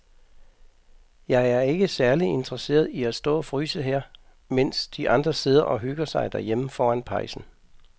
Jeg er ikke særlig interesseret i at stå og fryse her, mens de andre sidder og hygger sig derhjemme foran pejsen.